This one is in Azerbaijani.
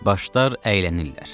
Başlar əylənirlər.